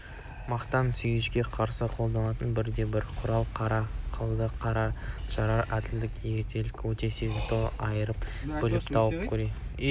мақтан сүйгіштікке қарсы қолданылатын бірден-бір құрал қара қылды қақ жарар әділдік ерлікті өте сезімталдықпен айыра біліп тауып көре